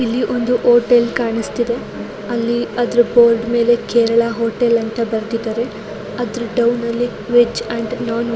ಇಲ್ಲಿ ಒಂದು ಹೋಟೆಲ್ ಕಾಣಿಸುತ್ತೇದೆ ಅಲ್ಲಿ ಅದರ ಬೋರ್ಡ್ ಮೇಲೆ ಕೇರಳ ಹೋಟೆಲ್ ಅಂತಾ ಬರೆದಿದೆ ಅದರ ಡೌನ್ ನಲ್ಲಿ ವೆಜ್ ಅಂಡ್ ನೊನ್ ವೆಜ್